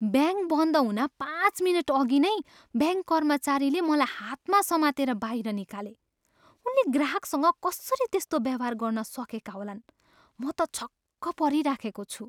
Bank बन्द हुन पाँच मिनटअघि नै ब्याङ्क कर्मचारीले मलाई हातमा समातेर बाहिर निकाले। उनले ग्राहकसँग कसरी त्यस्तो व्यवहार गर्न सकेका होलान्! म त छक्क परिराखेको छु।